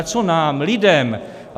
Ale co nám, lidem.